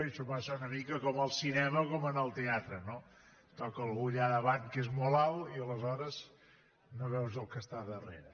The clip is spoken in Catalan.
això passa una mica com al cinema o com en el teatre no et toca algú allà davant que és molt alt i aleshores no veus el que està darrere